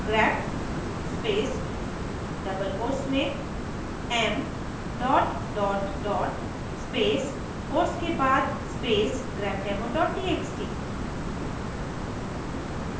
grep space double quotes में m dot dot dot space quotes के बाद space grepdemo txt